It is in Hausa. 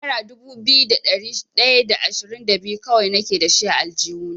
Nera dubu biyu da ɗari ɗaya da ashirin da biyu kawai nake dashi a aljihuna.